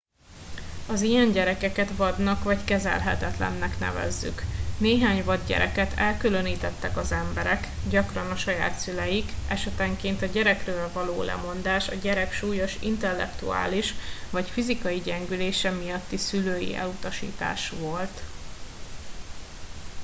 az ilyen gyerekeket vadnak vagy kezelhetetlennek nevezzük. néhány vad gyereket elkülönítettek az emberek gyakran a saját szüleik esetenként a gyerekről való lemondás a gyerek súlyos intellektuális vagy fizikai gyengülése miatti szülői elutasítás volt